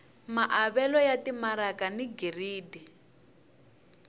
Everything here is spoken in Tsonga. maavelo ya timaraka ni giridi